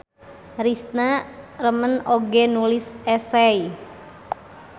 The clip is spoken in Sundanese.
Risna remen oge nulis esei.